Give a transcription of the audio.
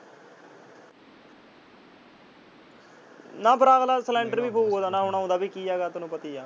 ਨਾ ਫਿਰ ਅਗਲਾ ਸੈਲੰਡਰ ਵੀ ਫੂਕ ਦਿੰਦਾ । ਹੁਣ ਆਉਂਦਾ ਵੀ ਕੀ ਹੈ ਤੈਨੂੰ ਪਤਾ ਹੀ ਆ।